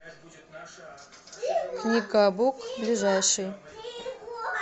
книгабук ближайший